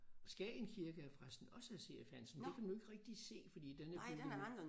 Skagen kirke er forresten også af C F Hansen det kan man jo ikke rigtig se fordi den er bygget